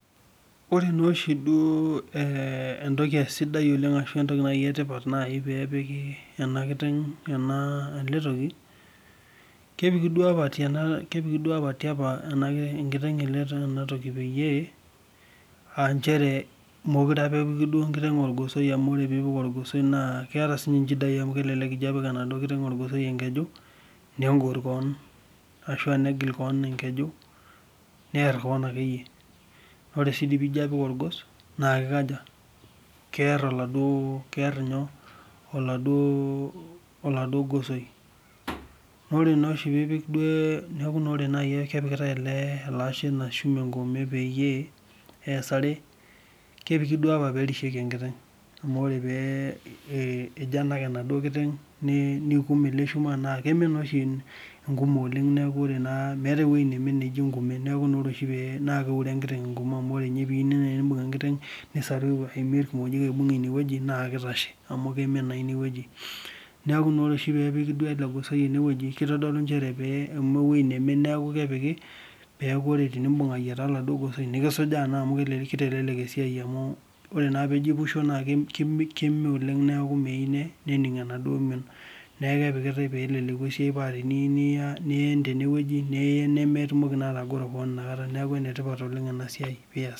Ore naa oshi duo naa peepiki ena toki peyie mukure ake epiki olgosoi amu keeta inchidai amu kegor koon ashu egil kaan engeju Ore nae kepikitae olchuma engume peerishieki enkiteng amu ore peejo anak neikum tengume nemee naa neaku ore peepiki olgosoi ine pee ore piimbung naa kisuju naa amu keme nemeyieu nening enaduo mion niaku enetipat ina siai oleng